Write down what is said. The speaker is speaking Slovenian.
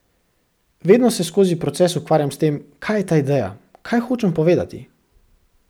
Vedno se skozi proces ukvarjam s tem, kaj je ta ideja, kaj hočem povedati.